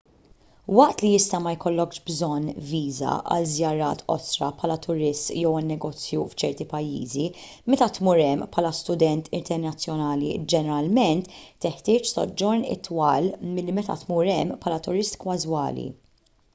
waqt li jista' ma jkollokx bżonn viża għal żjarat qosra bħala turist jew għan-negozju f'ċerti pajjiżi meta tmur hemm bħala student internazzjonali ġeneralment teħtieġ soġġorn itwal milli meta tmur hemm bħala turist każwali